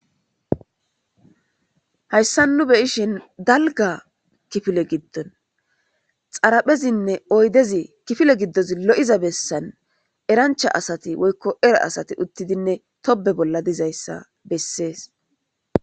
Hayissani nu beyishini daligga kifileza giddoni xariphezinne oyidezi kifile godoni loyiza eranicha asati erra asati utidi tobbe bolla dizayissa bessesi